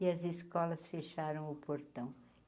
E as escolas fecharam o portão.